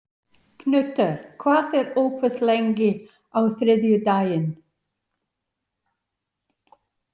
Knútur, hvað er opið lengi á þriðjudaginn?